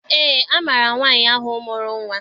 Eé, amaara m nwaanyị ahụ mụrụ nnwa.